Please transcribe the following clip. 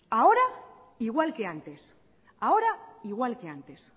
ahora igual que antes ahora igual que antes